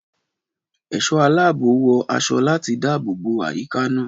Ẹ̀ṣọ́ aláàbò wọ aṣọ láti dáàbò bo àyíká náà.